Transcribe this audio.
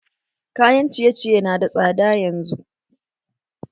Kayan ciye ciye na da tsada yanzu